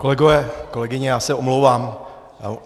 Kolegové, kolegyně, já se omlouvám.